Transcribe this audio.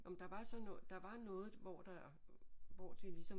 Ah men der var sådan noget der var noget hvor der var hvor det ligesom